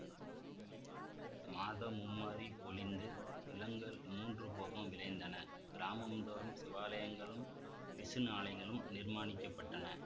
மாதம் மும்மாரி பொழிந்து நிலங்கள் மூன்று போகம் விளைந்தன கிராமந்தோறும் சிவாலயங்களும் விஷ்ணு ஆலயங்களும் நிர்மாணிக்கப்பட்டன